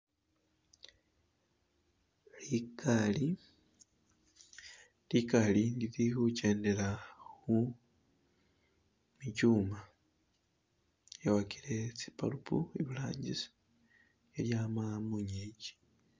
Likali, likaali lili khukendela khumichuma , yawakile tsi bulb iburangisi khelyama mungiki.